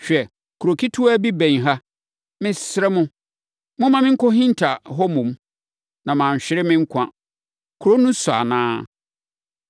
Hwɛ, kuro ketewa bi bɛn ha. Mesrɛ mo, momma menkɔhinta hɔ mmom, na manhwere me nkwa. Kuro no nsua anaa?”